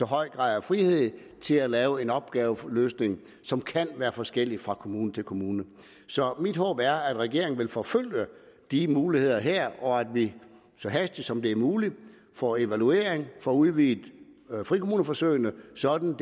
høj grad af frihed til at lave en opgaveløsning som kan være forskellig fra kommune til kommune så mit håb er at regeringen vil forfølge de muligheder her og at vi så hastigt som det er muligt får en evaluering og får udvidet frikommuneforsøgene sådan at